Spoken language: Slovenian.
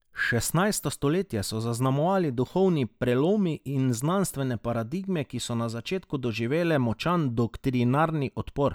Šestnajsto stoletje so zaznamovali duhovni prelomi in znanstvene paradigme, ki so na začetku doživele močan doktrinarni odpor.